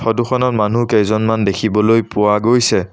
Photo খনত মানুহ কেইজনমান দেখিবলৈ পোৱা গৈছে।